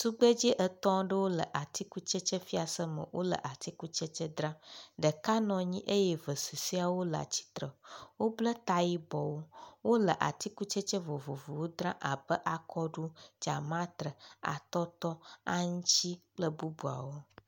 Tugbedzɛ etɔ̃ aɖewo le tikutsetse fiase me wo le atikutsetse dzram. Ɖeka nɔ anyi eye eve susɔwo le atsitre. Wobble ta yibɔwo. Wo le atsikutsetse vovovowo dzrma be; akɔɖu, dzamatre, atɔtɔ, aŋtsi kple bubuawo.